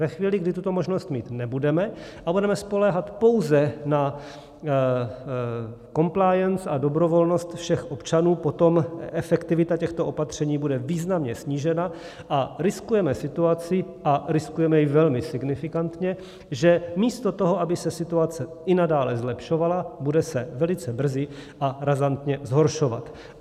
Ve chvíli, kdy tuto možnost mít nebudeme a budeme spoléhat pouze na compliance a dobrovolnost všech občanů, potom efektivita těchto opatření bude významně snížena a riskujeme situaci, a riskujeme ji velmi signifikantně, že místo toho, aby se situace i nadále zlepšovala, bude se velice brzy a razantně zhoršovat.